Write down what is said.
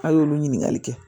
A' y'olu ɲininkali kɛ